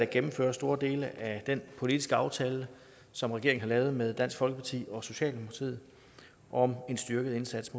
gennemfører store dele af den politiske aftale som regeringen har lavet med dansk folkeparti og socialdemokratiet om en styrket indsats